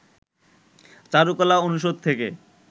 চারুকলা অনুষদ থেকে